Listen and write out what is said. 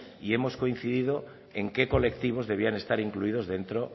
y hemos coincidido en qué colectivos debían estar incluidos dentro